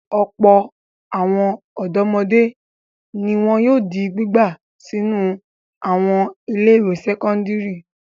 Ọ̀pọ̀ àwọn ọ̀dọ́mọdé ni wọn yóò di gbígbà sínú àwọn ilé-ìwé sẹ́kọ́ndárì.